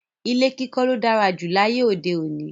Ilé kíkó ló dára jù láyé òde òní